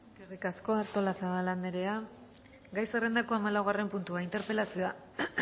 eskerrik asko artolazabal andrea gai zerrendako hamalaugarren puntua interpelazioa